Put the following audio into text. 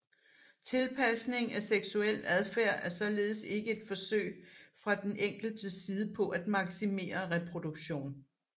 Tilpasning af seksuel adfærd er således ikke et forsøg fra den enkeltes side på at maksimere reproduktion